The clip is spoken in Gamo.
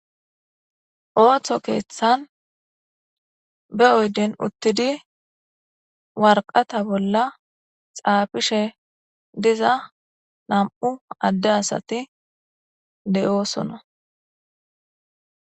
Ooththo keeththan be oyden uttidi warqata bolla xaafishe diza nam7u adde asati de7oosona.